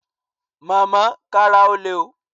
Màmá, kára ó le o